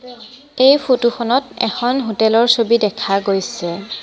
এই ফটো খনত এখন হোটেল ৰ ছবি দেখা গৈছে।